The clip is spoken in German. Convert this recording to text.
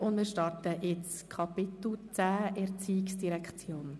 Wir starten den Themen der ERZ unter dem Kapitel 10.